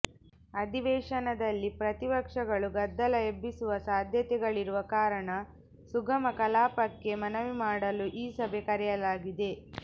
ಅಧಿವೇಶನದಲ್ಲಿ ಪ್ರತಿಪಕ್ಷಗಳು ಗದ್ದಲ ಎಬ್ಬಿಸುವ ಸಾಧ್ಯತೆಗಳಿರುವ ಕಾರಣ ಸುಗಮ ಕಲಾಪಕ್ಕೆ ಮನವಿ ಮಾಡಲು ಈ ಸಭೆ ಕರೆಯಲಾಗಿದೆ